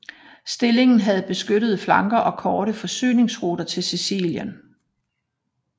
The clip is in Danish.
Stillingen havde beskyttede flanker og korte forsyningsruter til Sicilien